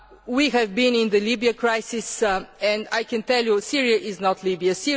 We have been in the Libya crisis, and I can tell you that Syria is not